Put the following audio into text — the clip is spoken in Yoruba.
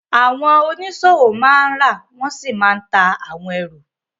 Àwọn oníṣòwò máa ń rà wọ́n sì máa ń ta àwọn ẹrù